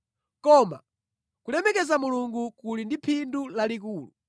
Koma kulemekeza Mulungu kuli ndi phindu lalikulu.